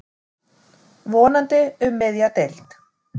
Vonandi um miðja deild.